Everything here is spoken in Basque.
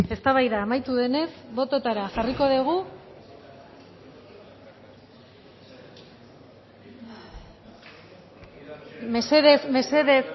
eztabaida amaitu denez bototara jarriko dugu mesedez mesedez